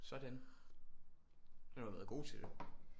Sådan du har da været god til det